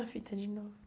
A fita de novo.